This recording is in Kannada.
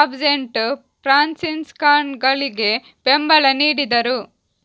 ಆಬ್ಸೆಂಟ್ ಫ್ರಾನ್ಸಿಸ್ಕನ್ಗಳಿಗೆ ಬೆಂಬಲ ನೀಡಿದರು